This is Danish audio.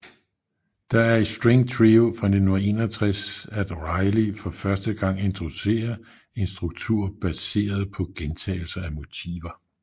Det er i String Trio fra 1961 at Riley for første gang introducerer en struktur baseret på gentagelse af motiver